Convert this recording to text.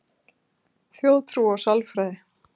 Þjóðtrú og sálfræði